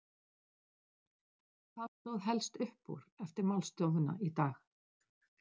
En hvað stóð helst upp úr eftir málstofuna í dag?